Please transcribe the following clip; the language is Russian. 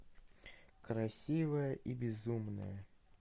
красивая и безумная